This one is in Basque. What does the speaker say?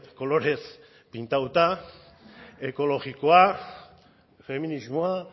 kolorez pintatua ekologikoa feminismoa